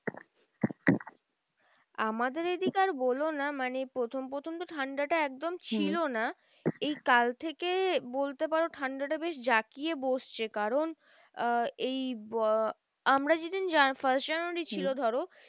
আমাদের এইদিকে আর বোলো না মানে প্রথম প্রথম তো ঠান্ডাটা একদম ছিল না। এই কাল থেকেই বলতে পারো ঠান্ডাটা বেশ জাকিয়ে বসছে। কারণ আহ এই আমরা যেইদিন first জানুয়ারী ছিল ধরো